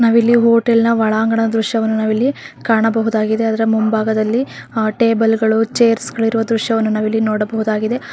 ನಾವಿಲ್ಲಿ ಹೋಟೆಲನ ಒಳಾಂಗಣ ದ್ರಶ್ಯವನ್ನು ನಾವಿಲ್ಲಿ ಕಾಣಬಹುದಾಗಿದೆ ಅದರ ಮುಂಬಾಗದಲ್ಲಿ ಟೆಬಲ ಗಳು ಚೆರ್ಸ ಗಳಿರುವ ದೃಶ್ಯವನ್ನು ನಾವಿಲ್ಲಿ ನೊಡಬಹುದಾಗಿದೆ.